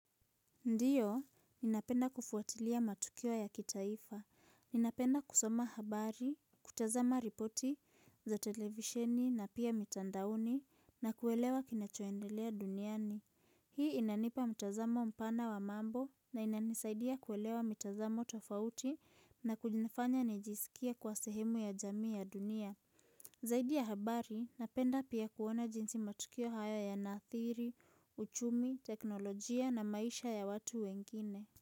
Ndio, ninapenda kufuatilia matukio ya kitaifa. Ninapenda kusoma habari, kutazama ripoti za televisheni na pia mitandaoni na kuelewa kinachoendelea duniani. Hii inanipa mtazamo mpana wa mambo na inanisaidia kuelewa mitazamo tofauti na kunifanya nijisikie kwa sehemu ya jamii ya dunia. Zaidi ya habari, napenda pia kuona jinsi matukio haya yanaathiri, uchumi, teknolojia na maisha ya watu wengine.